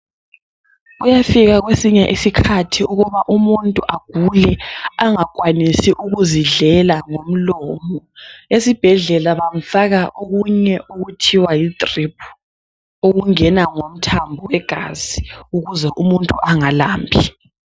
Kuyafika kwesinye isikhathi ukuba umuntu agule angakwanisi ukuzidlela ngomlomo esibhedlela bamfaka okunye okuthiwa yi diriphu okungena ngomthambo wegazi ukuze umuntu angalambi.